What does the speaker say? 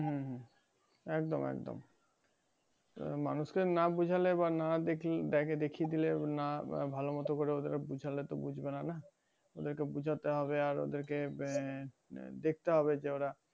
একদম একদম মানুষকে না বোঝালে বা না দিখেয়ে দিলে না বা ভালমতন ওদেরকে না বোঝালে তো বুঝবেনা না ওদের কে বোঝাতে হবে আর ওদেরকে দেখতে হবে যে ওরা